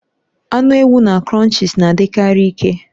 Anụ ewu na Crunchies na-adikarị ike